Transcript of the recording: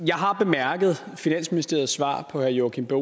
jeg har bemærket finansministeriets svar på herre joachim b